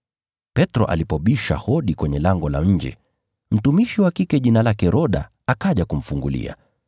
Petro alipobisha hodi kwenye lango la nje, mtumishi wa kike jina lake Roda, akaja kumfungulia.